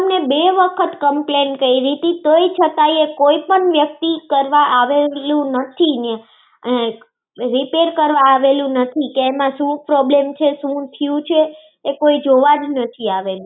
અમે બે વખત complaint કરી ટી તોયે. છતાંયે કોઈ વ્યક્તિ કરવા આવેલું નથી. કે repair કરવા આવેલું નહિ કે એમાં શું problem છે? કે શુ થયું છે કોઈ જોવા જ નથી આવેલું.